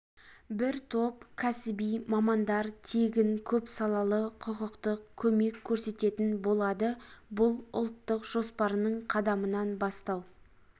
бір топ кәсіби мамандар тегін көпсалалы құқықтық көмек көрсететін болады бұл ұлт жоспарының қадамынан бастау